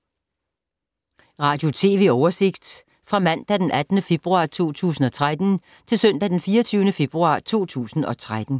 Radio/TV oversigt fra mandag d. 18. februar 2013 til søndag d. 24. februar 2013